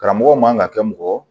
Karamɔgɔ man ka kɛ mɔgɔ